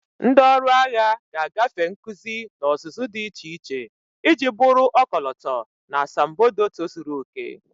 Ndị ọrụ agha ga-agafe nkuzi na ọzụzụ dị iche iche iji bụrụ ọkọlọtọ na asambodo tozuru oke.